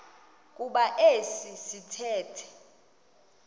kuba esi sithethe